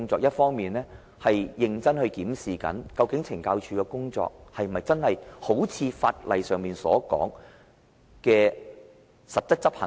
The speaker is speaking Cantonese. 第一，認真檢視懲教署的工作，是否真的一如法例上要求實質執行？